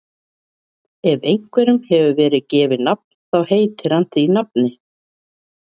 Ef einhverjum hefur verið gefið nafn þá heitir hann því nafni.